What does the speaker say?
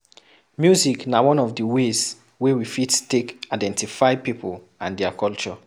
Music na one of di ways wey we fit take identify pipo and their culture